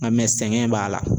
Nka sɛgɛn b'a la